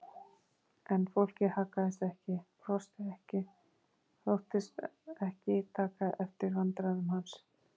En fólkið haggaðist ekki, brosti ekki, þóttist ekki taka eftir vandræðum hans.